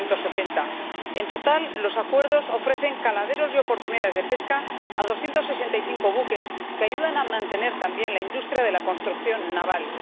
1980. En total, los acuerdos ofrecen caladeros y oportunidades de pesca a 265 buques, que ayudan a mantener también la industria de la construcción naval.